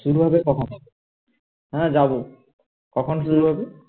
শুরু হবে কখন হ্যাঁ যাবো কখন শুরু হবে